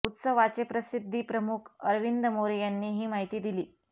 उत्सवाचे प्रसिध्दी प्रमुख अरविंद मोरे यांनी ही माहिती दिली